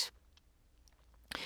DR K